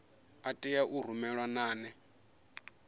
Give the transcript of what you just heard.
a tea u rumelwa nane